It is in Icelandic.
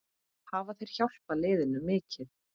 Hafa þeir hjálpað liðinu mikið?